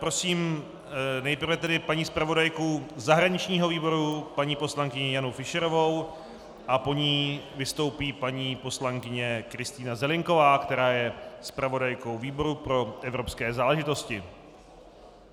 Prosím nejprve tedy paní zpravodajku zahraničního výboru paní poslankyni Janu Fischerovou a po ní vystoupí paní poslankyně Kristýna Zelienková, která je zpravodajkou výboru pro evropské záležitosti.